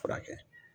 Furakɛ